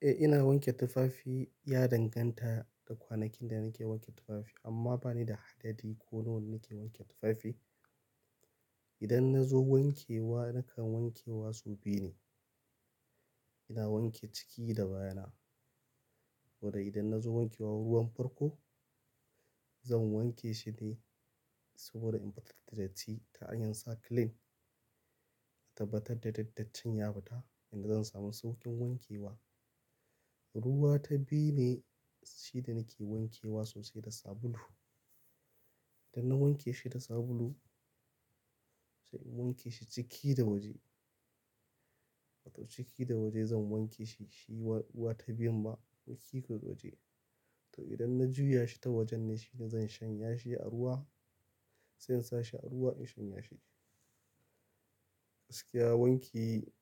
Eh ina wanke tufafi, ya danganta da kwanakin da nake wanke tufafi amma bani da adadi ko nawa ne nake wanke tufafi. Idan na zo wanke wa nakan wanke wa sau biyu ne. Ina wanke ciki da baya na. Wanda idan na zo wanke wa ruwan farko, zan wanke shi ne saboda in fitar da datti ta hanyar sa clean. In tabbatar da dattin ya fita yanda zan samu saukin wankewa. Ruwa ta biyu ne shi da nake wanke wa soso da sabulu. Idan na wanke shi da sabulu, sai in wanke shi ciki da waje. To ciki da waje zan wanke shi, shi ruwa ta biyun ba ciki da waje. To idan na juya shi ta wajen ne shine zan shanya shi a ruwa, sai in sa shi a ruwa in shanya shi. Gaskiya wanki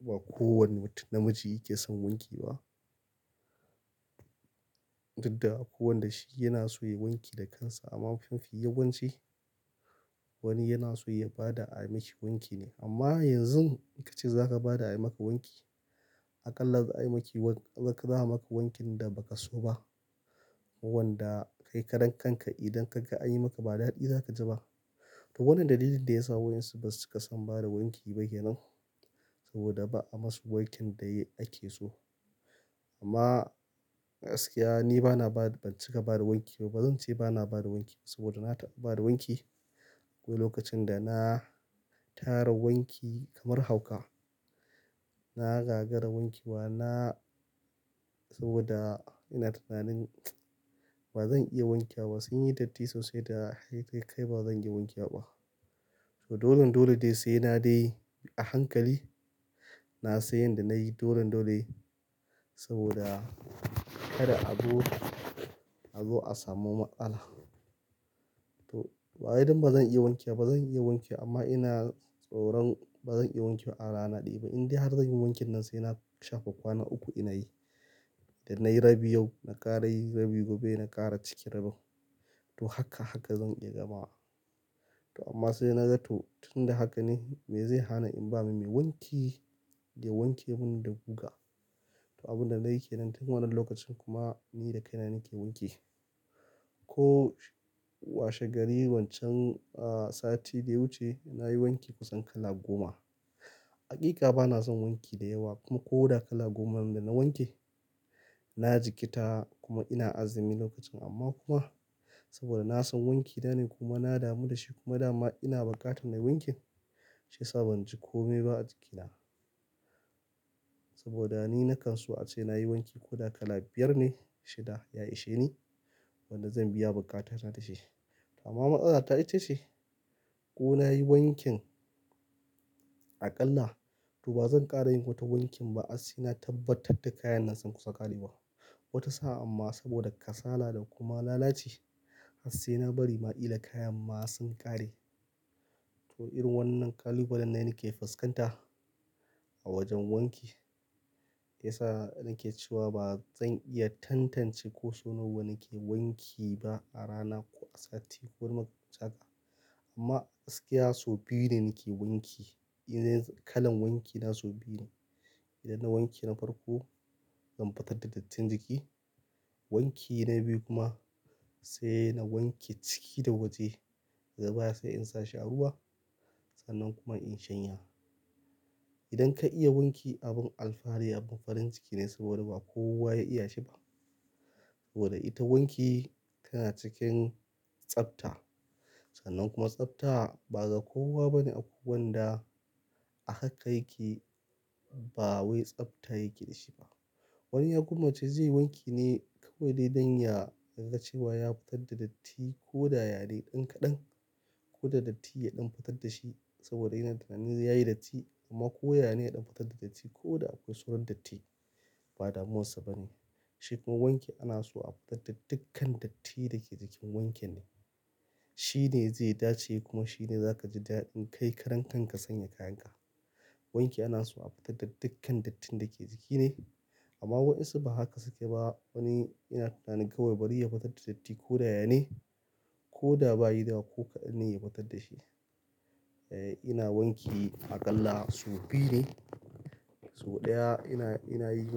ba kowane mutum namiji yake son wanki ba. Duk da akwai wanda shi ya na so ya yi wanki da kansa amma mafi yawanci wani yana so ya ba da a yi mishi wanki ne. Amma yanzu in ka ce za ka ba da a yi maka wanki, aƙalla za a yi maki, za a maka wankin da ba ka so ba. Wanda kai karan kanka idan ka ga an yi maka ba daɗi za ka ji ba. To wannan dalilin da ya sa waƴansu basu cika son ba da wanki ba kenan. Saboda ba a ma su wankin da ake so. Amma gaskiya ni bana ba, ban cika ba da wanki ba. Ba zan ce bana ba da wanki ba saboda na ta ɓa ba da wanki. Wai lokacin da na tara wanki kamar hauka, na gagara wankewa na saboda ina tunanin ba zan iya wankewa ba. Sun yi datti sosai da ya kai ba zan iya wankewa ba. To dolen dole dai sai na dai a hankali na san yadda na yi dolan dole saboda kada a zo, a zo a samu matsala. To bawai dan bazan iya wankewa ba zan iya wankewa amma ina tsoron ba zan iya wanke wa a rana ɗaya ba. Indai har zanyi wankin nan sai na shafe kwana uku ina yi. Idan nayi rabi yau na ƙara yi rabi gobe na ƙara cike rabin. To haka haka zan iya gamawa. To amma sai na ga to tun da haka ne me zai hana in ba ma mai wanki ya wanke min da guga? To abun da nayi kenan tun wannan lokacin kuma ni da kaina nake wanki. Ko washe gari wancan, ah, sati da ya wuce nayi wanki kusan kala goma. Haƙiƙa bana son wanki da yawa kuma koda kala goman da na wanke na jikkita kuma ina azumi lokacin amma kuma saboda na son wanki na ne kuma na damu da shi kuma dama ina buƙatar na yi wankin. Shi yasa ban ji komai ba a jikina. Saboda ni na kanso ace nayi wanki ko da kala biyar ne shida ya ishe ni. Wadda zan biya buƙatana da shi. Amma matsala ta ita ce ko nayi wankin aƙalla to ba zan ƙara yin wata wankin ba. Har sai na tabbatar da kayan nan sun kusa ƙarewa. Wata sa'a amma saboda kasala da kuma lalaci har sai na bari ma ƙila kayan ma sun ƙare. To irin wannan ƙalubalen ne nake fuskanta a wajen wanki. Yasa nake cewa ba zan iya tantance ko so nawa nake wanki ba a rana ko a sati ko makamancin haka. Amma gaskiya sau biyu ne nake wanki. Idan kalan wanki na sau biyu ne. Idan na wanke na farko zan fitar da dattin jiki. Wanki na biyu kuma sai na wanke ciki da waje. Daga baya sai in sa shi a ruwa sannan kuma in shanya. Idan ka iya wanki abin alfahari abin farin ciki ne saboda ba kowa ya iya shi ba. Saboda ita wanki tana cikin tsafta. Sannan kuma tsafta ba ga kowa ba ne akwai wanda a haka yake ba wai tsafta yake da shi ba. Wani ya kuma ce zai yi wanki ne kawai dai don ya ga cewa ya fatar da datti ko da ya ne ɗan kaɗan ko da datti ya ɗan fitar da shi saboda yana tunanin ya yi datti amma ko ya ne ya ɗan fitar da datti ko da akwai sauran datti ba damuwarsa ba ne. Shi kuma wanki ana so a fitar da dukkan dattinl da ke jikin wankin ne. Shi ne zai dace kuma shi ne za ka ji daɗin kai kakarankanka ka sanya kayanka. Wanki ana so a fitar da dukkan dattin da ke jiki ne. Amma waɗansu ba haka suke ba. Wani yana tunanin kawai bari ya fitar da datti ko da ya ne ko da bayi da ko kaɗan ne ya fitar da shi. E, ina wanki aƙalla sau biyu ne. Sau ɗaya ina, ina yi.